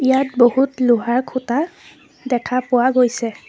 ইয়াত বহুত লোহাৰ খুঁটা দেখা পোৱা গৈছে।